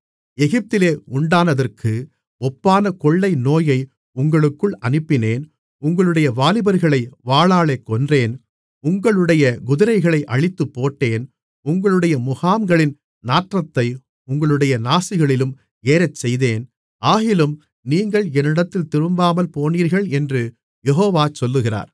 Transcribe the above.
எகிப்திலே உண்டானதற்கு ஒப்பான கொள்ளைநோயை உங்களுக்குள் அனுப்பினேன் உங்களுடைய வாலிபர்களை வாளாலே கொன்றேன் உங்களுடைய குதிரைகளை அழித்துப்போட்டேன் உங்களுடைய முகாம்களின் நாற்றத்தை உங்களுடைய நாசிகளிலும் ஏறச்செய்தேன் ஆகிலும் நீங்கள் என்னிடத்தில் திரும்பாமல்போனீர்கள் என்று யெகோவா சொல்லுகிறார்